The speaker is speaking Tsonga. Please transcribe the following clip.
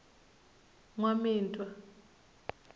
nwamitwa